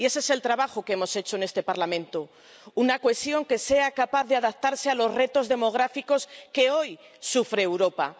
Y ese es el trabajo que hemos hecho en este Parlamento una cohesión que sea capaz de adaptarse a los retos demográficos que hoy sufre Europa.